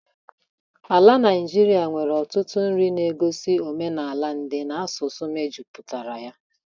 Ala Naijiria nwere ọtụtụ nri ndị na-egosi omenala ndị na asụsụ mejupụtara ya.